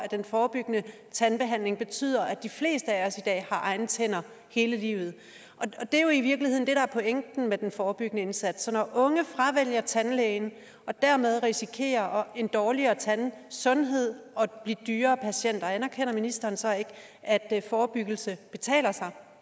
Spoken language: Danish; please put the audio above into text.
den forebyggende tandbehandling betyder at de fleste af os har egne tænder hele livet det er jo i virkeligheden det der er pointen med den forebyggende indsats når unge fravælger tandlægen og dermed risikerer en dårligere tandsundhed og at blive dyrere patienter anerkender ministeren så ikke at at forebyggelse betaler